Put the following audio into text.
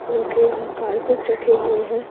र्रखे हैं कारपेट रखे हुए हैं।